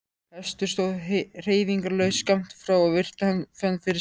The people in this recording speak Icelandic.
Hestur stóð hreyfingarlaus skammt frá og virti hann fyrir sér.